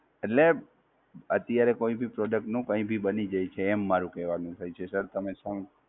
એટલે, અત્યારે કોઈ ભી Product નું કંઈ ભી બની જે છે એમ મારુ કેવાનું થાય છે, Sir તમે શું